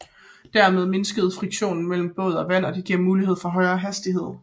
Dermed mindskes friktionen mellem båd og vand og det giver mulighed for højere hastighed